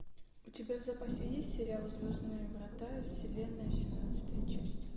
у тебя в запасе есть сериал звездные врата вселенная семнадцатая часть